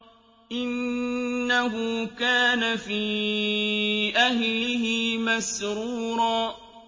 إِنَّهُ كَانَ فِي أَهْلِهِ مَسْرُورًا